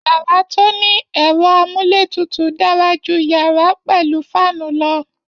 Yàrá to ni ẹ̀rọ amúletutù dara ju yàrá pẹ̀lú faanu lọ